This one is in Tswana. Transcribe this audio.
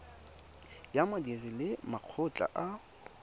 ya badiri le makgotla a